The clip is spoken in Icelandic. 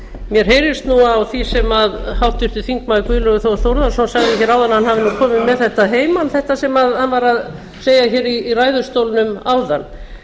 mér heyrist nú á því sem háttvirtur þingmaður guðlaugur þór þórðarson sagði hér áðan að hann hafi nú komið með þetta að heiman þetta sem hann var að segja hér í ræðustólnum áðan